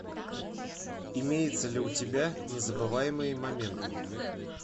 имеется ли у тебя незабываемые моменты